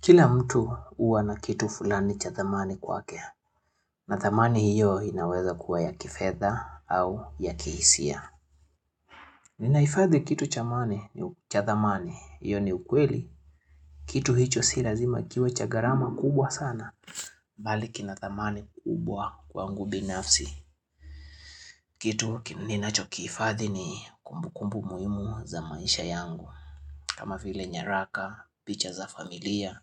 Kila mtu huwa na kitu fulani cha dhamani kwake, na thamani hiyo inaweza kuwa ya kifedha au ya kihisia. Ninahifadhi kitu cha dhamani, hiyo ni ukweli, kitu hicho si lazima kiwe cha gharama kubwa sana. Bali kina dhamani kubwa kwangu binafsi, kitu ninacho kiifadhi ni kumbukumbu muhimu za maisha yangu. Kama vile nyaraka, picha za familia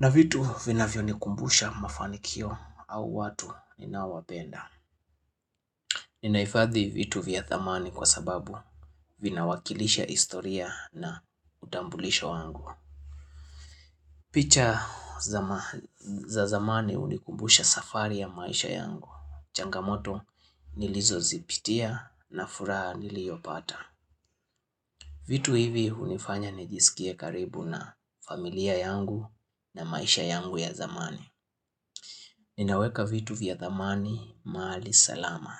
na vitu vinavyonikumbusha mafanikio au watu ninaowapenda Ninaifadhi vitu vya dhamani kwa sababu vina wakilisha historia na utambulisho wangu picha za zamani hunikumbusha safari ya maisha yangu Changamoto nilizozipitia na furaha niliyopata vitu hivi hunifanya nijisikie karibu na familia yangu na maisha yangu ya zamani. Ninaweka vitu vya dhamani mahali salama.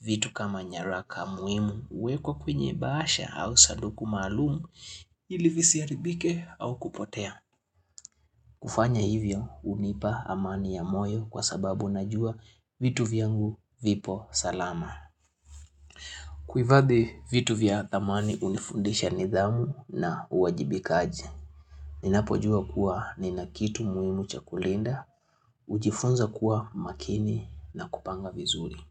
Vitu kama nyaraka muhimu huwekwa kwenye bahasha au saduku maalumu ili visiharibike au kupotea. Kufanya hivyo hunipa amani ya moyo kwa sababu najua vitu vyangu vipo salama. Kuifadhi vitu vya dhamani unifundisha nidhamu na uwajibika aje. Ninapojua kuwa nina kitu muhimu cha kulinda, hujifunza kuwa makini na kupanga vizuri.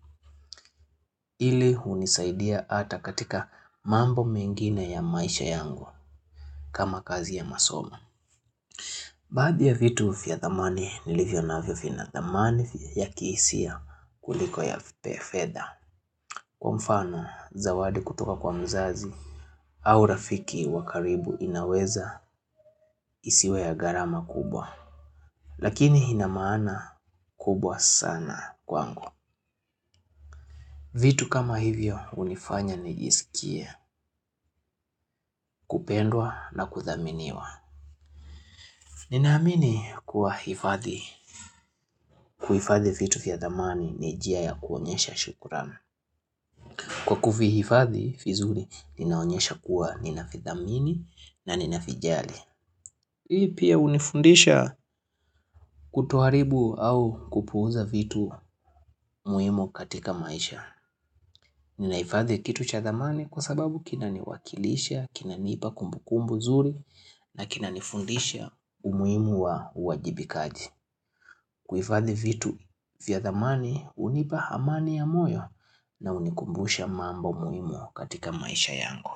Ili hunisaidia ata katika mambo mengine ya maisha yangu kama kazi ya masomo. Baadhi ya vitu vya dhamani nilivyonavyo vina dhamani ya kihisia kuliko ya fedha. Kwa mfano zawadi kutoka kwa mzazi au rafiki wa karibu inaweza isiwe ya gharama kubwa. Lakini ina maana kubwa sana kwangu vitu kama hivyo hunifanya nijisikie kupendwa na kuthaminiwa Ninaamini kuwa hifadhi kuifadhi vitu vya dhamani ni njia ya kuonyesha shukran Kwa kuvihifadhi vizuri ninaonyesha kuwa nina vidhamini na ninavijali Hii pia hunifundisha kutoharibu au kupuuza vitu muhimu katika maisha Ninahifadhi kitu cha dhamani kwa sababu kina niwakilisha, kinanipa kumbukumbu zuri na kinanifundisha umuhimu wa uwajibikaji. Kuifadhi vitu vya dhamani hunipa amani ya moyo na unikumbusha mambo muhimu katika maisha yangu.